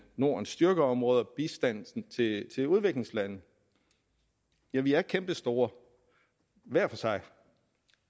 nordens styrkeområder nemlig bistanden til udviklingslande ja vi er kæmpestore hver for sig